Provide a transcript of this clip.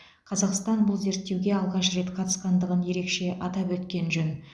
қазақстан бұл зерттеуге алғаш рет қатысқандығын ерекше атап өткен жөн